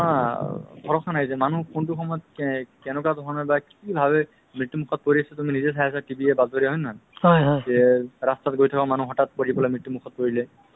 হয় মই মানে উম অপোনাৰ কথাত মানে নিশ্চয় মানে agree হৈ আছো এহ্ আপুনি যি ধৰণে কথা ক'লে যে আজিকালি ধৰক ANM বাইদেউ হওক বা আশা বাইদেউ হওক